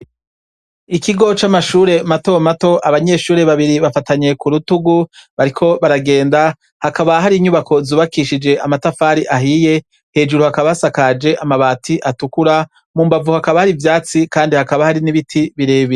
Ikigo c'amashure matomato. Abanyeshure babiri bafatanye kurutugu bariko baragenda hakaba hari inyubako zubakishije amatafari ahiye, hejuru hakaba hasakaje amabati atukura, mumbavu hakaba hari ivyatsi Kandi hakaba hari n'ibiti birebire.